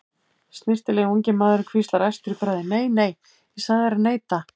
Snyrtilegi ungi maðurinn hvíslar æstur í bragði: Nei, nei, ég sagði þér að neita